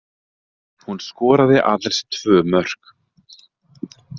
Hún skoraði aðeins tvö mörk